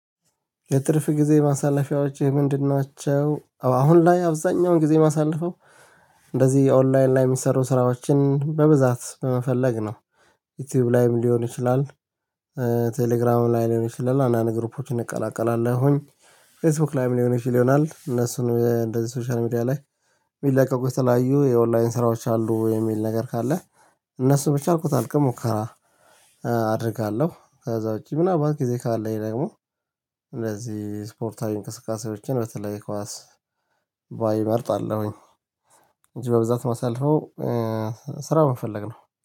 የትርፍ ጊዜ ማሳለፊያዎችህ ምንድን ናቸው? አሁን ላይ አብዛኛውን ጊዜ ማሳልፈው እንደዚህ የኦንላይን ላይ የሚሰሩ ስራዎችን በብዛት በመፈለግ ነው። ዩቲዩብ ላይም ሊሆን ይችላል። ቴሌግራም ላይ ሊሆን ይችላል አንዳንድን ግሩፖችን እንቀላቀላሁኝ። ፌስቡክ ላይም ሊሆን ይችል ይሆናል እነሱን እንደዚህ ሶሻል ሚዲያ ላይ። የሚለቀቁ የተለያዩ የኦንላይን ስራዎች አሉ የሚል ነገር ካለ። እነሱ ብቻ አርቆታል ግን ሙከራ። አደርጋለሁ ከዛ ውጪ ምናልባት ጊዜ ካለኝ ደግሞ። እንደዚህ ስፖርታዊ እንቅስቃሴዎችን በተለይ ኳስ ባይመርጣለሁኝ። እንጂ በብዛት የማሳልፈው ስራ በመፈለግ ነው